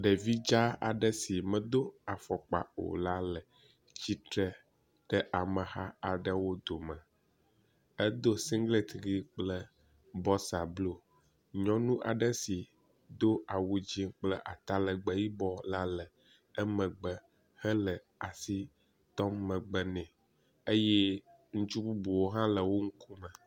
Ɖevi dza aɖe si medo afɔkpa o la le tsitre ɖe ameha la dome. Edo singlet ʋɛ̃ kple bɔxsa blu, nyɔnu aɖe si do awu dzɛ̃ kple atalegbe yibɔ la le megbe hele asi tɔm megbe nɛ.